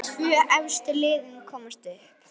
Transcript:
Tvö efstu liðin komast upp.